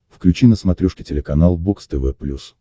включи на смотрешке телеканал бокс тв плюс